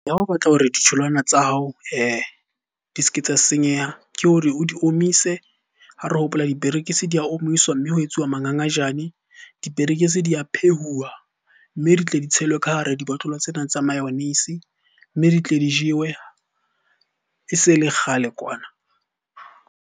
Ha o batla hore ditholwana tsa hao di s'ke tsa senyeha ke hore o di omise. Ha re hopola diperekisi di a omiswa, mme ho etsuwa mangangajane. Diperekisi di a phehuwa, mme di tle di tshelwe ka hara dibotlolo tsena tsa mayonnaise. Mme di tle di jewe e se le kgale kwana.